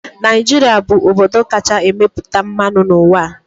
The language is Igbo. Naijiria bụ obodo kacha emepụta mmanụ n'ụwa.